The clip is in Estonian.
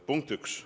Punkt üks.